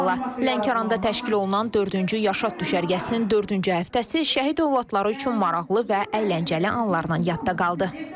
Lənkəranda təşkil olunan dördüncü Yaşad düşərgəsinin dördüncü həftəsi şəhid övladları üçün maraqlı və əyləncəli anlarla yadda qaldı.